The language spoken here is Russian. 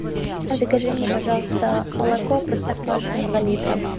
закажи мне пожалуйста молоко простоквашино два литра